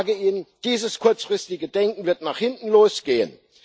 Ich sage Ihnen Dieses kurzfristige Denken wird nach hinten losgehen.